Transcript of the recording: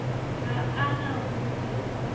ha a na ho se